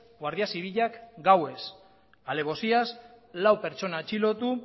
guardia zibilak gauez alebosiaz lau pertsona atxilotu